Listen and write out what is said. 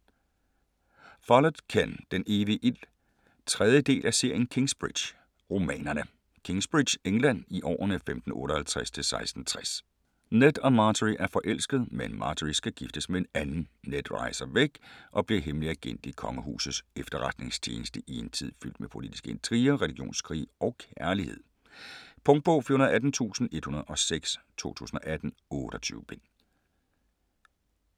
Follett, Ken: Den evige ild 3. del af serien Kingsbridge-romanerne. Kingsbridge, England, i årene 1558-1660. Ned og Margery er forelskede, men Margery skal giftes med en anden. Ned rejser væk og bliver hemmelig agent i kongehusets efterretningstjeneste i en tid fyldt med politiske intriger, religionskrige og kærlighed. Punktbog 418106 2018. 28 bind.